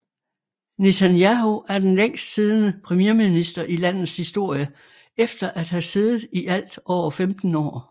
Netanyahu er den længst siddende premierminister i landets historie efter at have siddet i alt over 15 år